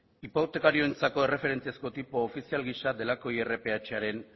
hipotekarioentzako erreferentziazko tipo ofizial gisa delako irph aren